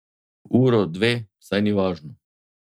Uro, dve, saj ni važno.